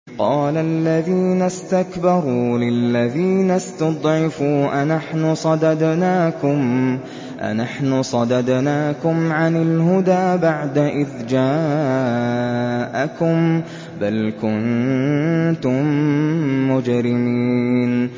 قَالَ الَّذِينَ اسْتَكْبَرُوا لِلَّذِينَ اسْتُضْعِفُوا أَنَحْنُ صَدَدْنَاكُمْ عَنِ الْهُدَىٰ بَعْدَ إِذْ جَاءَكُم ۖ بَلْ كُنتُم مُّجْرِمِينَ